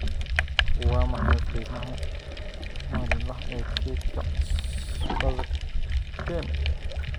waa maxay qiimaha maalinlaha ee kaydka cusbada ken